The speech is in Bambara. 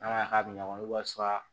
N'a ma ɲa k'a bɛ ɲɔgɔn bolo walasa